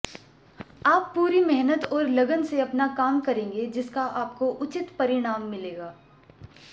आप पूरी मेहनत और लगन से अपना काम करेंगे जिसका आपको उचित परिणाम मिलेगा